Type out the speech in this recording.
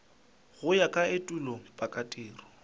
go ya ka etulo pakatiro